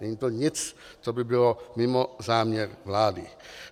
Není to nic, co by bylo mimo záměr vlády.